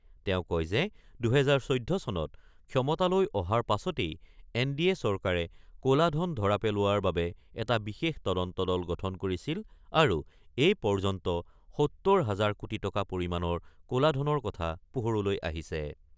তেওঁ কয় যে, ২০১৪ চনত ক্ষমতালৈ অহাৰ পাছতেই এন ডি এ চৰকাৰে ক'লা ধন ধৰা পেলোৱাৰ বাবে এটা বিশেষ তদন্ত দল গঠন কৰিছিল আৰু এই পৰ্য্যন্ত ৭০ হাজাৰ কোটি টকা পৰিমাণৰ ক'লা ধনৰ কথা পোহৰলৈ আহিছে।